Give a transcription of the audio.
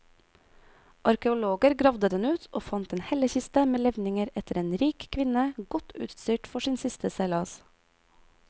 Arkeologer gravde den ut og fant en hellekiste med levninger etter en rik kvinne, godt utstyrt for sin siste seilas.